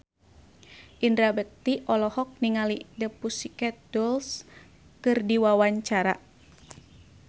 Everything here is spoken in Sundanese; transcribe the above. Indra Bekti olohok ningali The Pussycat Dolls keur diwawancara